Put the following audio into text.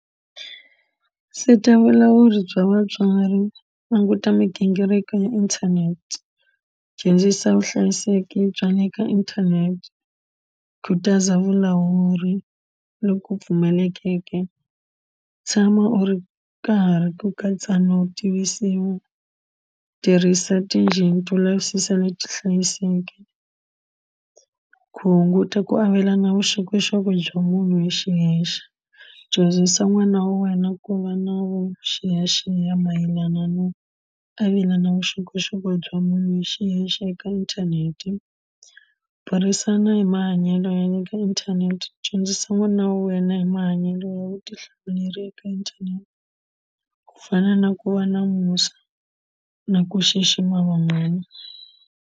Seta vulawuri bya vatswari languta migingiriko ya internet dyondzisa vuhlayiseki bya le ka internet khutaza vulawuri loku pfumalekeke tshama u ri karhi ku katsa no tirhisa tinjini to lavisisa leti hlayiseke ku hunguta ku avelana vuxokoxoko bya munhu hi xiyexe dyondzisa n'wana wa wena ku va na vuxiyaxiya mayelana no avelana vuxokoxoko bya munhu hi xiyexe eka inthanete burisana hi mahanyelo ya le ka inthanete dyondzisa n'wana wa wena hi mahanyelo ya vutihlamuleri eka inthanete ku fana na ku va na musa na ku xixima van'wana.